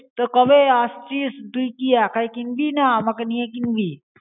তা কবে আসছিস? তুই কী একাই কিনবি না আমাকে নিয়ে কিনবি.